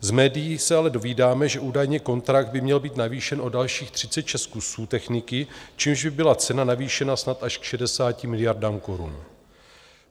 Z médií se ale dovídáme, že údajně kontrakt by měl být navýšen o dalších 36 kusů techniky, čímž by byla cena navýšena snad až k 60 miliardám korun.